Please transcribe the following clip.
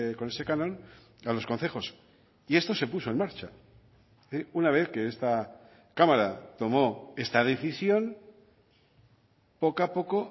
con ese canon a los concejos y esto se puso en marcha una vez que esta cámara tomó esta decisión poco a poco